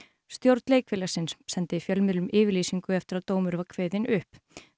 stjórn leikfélagsins sendi fjölmiðlum yfirlýsingu eftir að dómur var kveðinn upp